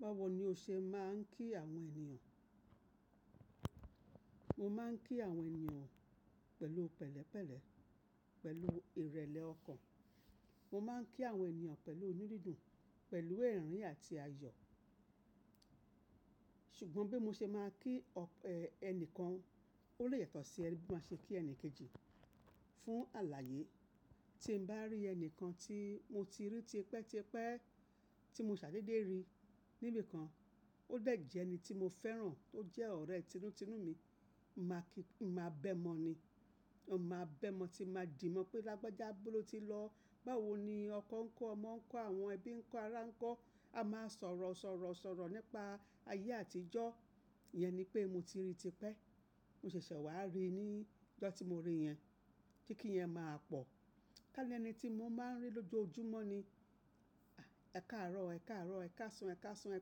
Báwo ni o ṣe máa ń kí àwọn ènìyàn? Mo máa ń kí àwọn ènìyàn pẹ̀lú pẹ̀lẹ́pẹ̀lẹ́, pẹ̀lú ìrẹ̀lẹ̀ ọkàn. Mo máa ń kí àwọn ènìyàn pẹ̀lú inú dídùn, pẹ̀lú ẹ̀rín àti ayọ̀. Ṣùgbọ́n bí mo ṣe máa kí ẹni kan, ó lè yàtọ̀ sí bí mo ṣe máa ṣe kí ẹni kejì. Fún alààyè, tí mo bá rí ẹni kan tí mo ti rí tipẹ́ tipẹ́, tí mo ṣàdédé rí níbi kan, ó dẹ̀ jẹ́ ẹni tí mo fẹ́ràn, tó jẹ́ ọ̀rẹ́ tínú tínú mi, n màá kí, n màá bẹ́ mọ́ ni. N máa bẹ́ mọ́ tí n màá dì mọ̀ pé lágbájá, ibó ló ti lọ. Báwo ni ọkọ ńkọ́, ọmọ ńkọ́, àwọn ẹbí ńkọ́, ará ńkọ́. A máa sọ̀rọ̀ sọ̀rọ̀ sọ̀rọ̀ nípa ayé àtijọ́. Yẹn ni pé mo ti rí tipẹ́. Mo ṣẹ̀ṣẹ̀ wà rí i ní ìjọ tí mo rí i yẹn. Kí kí i yẹn máa pọ̀. Ká ní ẹni tí mo máa ń rí lójoojúmọ́ ni, ẹ̀kaàárọ̀ ẹ̀kaàárọ̀, ẹ̀kasan ẹ̀kasan, ẹ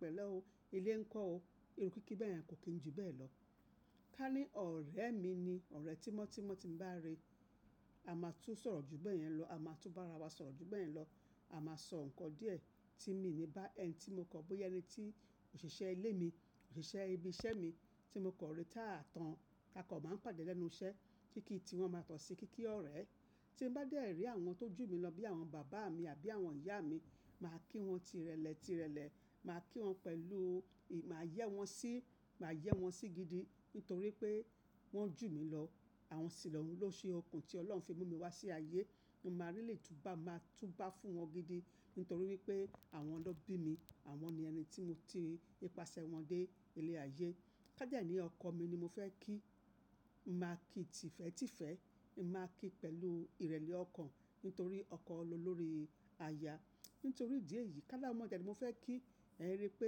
pẹ̀lẹ́ o, ilé ńkọ́ o. Irú kíkí bẹ́ẹ̀ yẹn kò kín jù bẹ́ẹ̀ lọ. Ká ní ọ̀rẹ́ mi ni, ọ̀rẹ́ tímọ́tímọ́ tí mo bá rí i, a máa tún sọ̀rọ̀ jù bẹ́ẹ̀ yẹn lọ. A máa tún bá ara wa sọ̀rọ̀ jù bẹ́ẹ̀ yẹn lọ. A máa sọ nǹkan díẹ̀ tí mi ní bá ẹni tí mo kan, bóya ẹni tí òṣìṣẹ́ ilé mi, òṣìṣẹ́ ibi iṣẹ́ mi, tí mo kan rí táa tán. A kan máa n pàdé lẹ́nu iṣẹ́. Kíkí tí wọ́n máa yàtọ̀ sí, kíkí ọ̀rẹ́. Tí mo bá dé èrí àwọn tó jù mí lọ bí àwọn bàbá mi àbí àwọn ìyá mi, màá kí wọn tirẹlẹ tirẹlẹ. Màá kí wọn pẹ̀lú, màá yẹ́ wọn sí, màá yẹ́ wọn sí gidi. Nítorí pé wọ́n jù mí lọ. Àwọn sì lọ́hun ló ṣe okùn tí Ọlọ́run fi mú mi wá sí ayé. Mo máa really túbá, màá túbá fún wọn gidi. Nítorí wípé àwọn lọ bí mi. Àwọn ni ẹni tí mo ti nípasẹ̀ wọn dé ilé ayé. Ká dẹ́ ní ọkọ mi ni mo fẹ́ kí, n màá kí i tìfẹ́tìfẹ́. N màá kí i pẹ̀lú ìrẹ̀lẹ̀ ọkàn. Nítorí ọkọ lolórí aya. Nítorí ìdí èyí. Ká láwọn ọmọ dẹ̀ ni mo fẹ́ kí, ẹ̀ rí i pé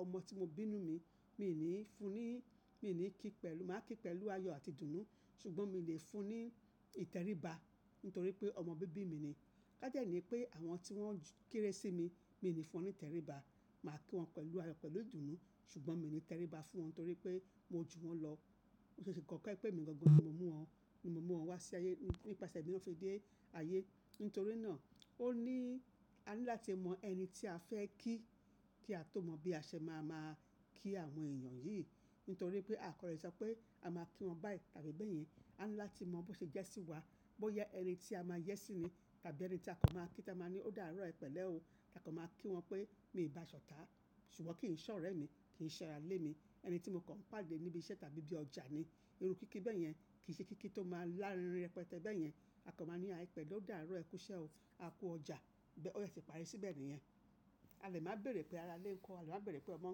ọmọ tí mo bí nínú mi, mi ò ní fún un ní, mi ò ní kí i pẹ̀lú, màá kí i pẹ̀lú ayọ̀ àti dùnù. Ṣùgbọ́n mo lè fún un ní ìtẹríba. Nítorí pé ọmọ bíbí mi ni. Ká jẹ́ ní pé àwọn tí wọ́n kéré sí mi, mi ò ní fún wọn ní ìtẹríba. Màá kí wọn pẹ̀lú ayọ̀, pẹ̀lú dùnù. Ṣùgbọ́n mi ò ní tẹríba fún wọn torí pé mo jù wọ́n lọ. Ó ṣe kókó ẹ pé èmi gangan ni mo mú wọn, mo mú wọn wá sí ayé, nípasẹ̀ mi ni wọ́n fi dé ayé. Nítorí náà, ó ní a ní láti mọ ẹni tí a fẹ́ kí, kí a tó mọ bí a ṣe máa máa kí àwọn ènìyàn yìí. Nítorí pé a kò lè sọ pé a máa kí wọn báyìí tàbí bẹ́ẹ̀ yẹn. A ní láti mọ bó ṣe jẹ́ sí wa. Bó yá ẹni tí a máa yẹ́ sí ni, tàbí ẹni tí a kan máa kí táa máa ní ó dàárọ́ o, ẹ pẹ̀lẹ́ o. Tà kò máa kí wọn pé mi ò bá a ṣọ̀tá. Ṣùgbọ́n kíì n ṣe ọ̀rẹ́mi, kíì n ṣẹ ara ilé mi. Ẹni tí mo kàn pàdé níbi iṣẹ́ tàbí bí ọjà ni. Irú kíkí bẹ́ẹ̀ yẹn kì í ṣe kíkí tó máa lárinrin rẹpẹtẹ́ bẹ́ẹ̀ yẹn. A kanb máa ní há! Ẹ pẹ̀lẹ́, ó dàárọ́ ẹ kú iṣẹ́ o, a kú ọjà. Bẹ́ o dẹ̀ ti parí síbẹ̀ nìyẹn. A lè máa béèrè pé ara lé ńkọ́, a lè máa béèrè pé ọmọ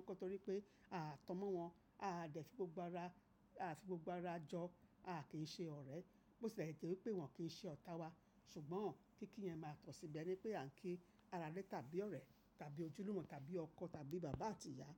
ńkọ́ torí pé a tan mọ wọn, a dẹ̀ fi gbogbo ara, a fi gbogbo ara jọ, a kì í ṣe ọ̀rẹ́. Bí ó ṣe tí lè jẹ wí pé wọn kì í ṣe ọ̀tá wa. Ṣùgbọ́n kíkí yẹn máa tọ̀ síbẹ̀ ní pé à ń kí ara ilé, tàbí ọ̀rẹ́, tàbí ojúlùmọ̀, tàbí ọkọ, tàbí bàbá àti ìyá.